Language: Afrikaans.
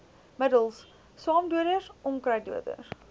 middels swamdoders onkruiddoders